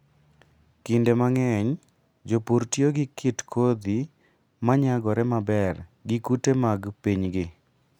Kinde mang'eny, jopur tiyo gi kit kodhi ma nyagore maber gi kute mag pinygi.